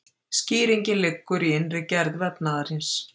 Skýringin liggur í innri gerð vefnaðarins.